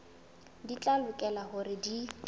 di tla lokela hore di